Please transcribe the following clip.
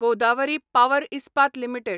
Godavari power Ispat limited